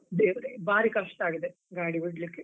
ದೇವ್ರೇ ಬಾರಿ ಕಷ್ಟ ಆಗಿದೆ, ಗಾಡಿ ಬಿಡ್ಲಿಕ್ಕೆ.